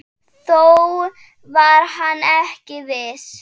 Þó var hann ekki viss.